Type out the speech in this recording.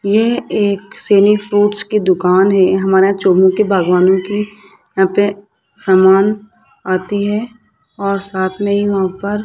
ये एक सैनी फ्रूट्स की दुकान है हमारा चोमू के बागवानों की यहां पे समान आती है और साथ में ही वहां पर --